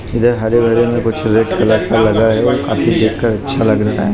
इधर हरे भरे में कुछ रेड कलर का लगा है काफी देखकर अच्छा लग रहा--